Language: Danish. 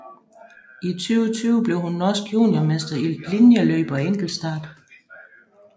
I 2020 blev hun norsk juniormester i linjeløb og enkeltstart